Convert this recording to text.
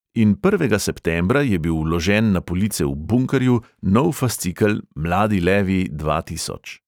In prvega septembra je bil vložen na police v bunkerju nov fascikel mladi levi dva tisoč.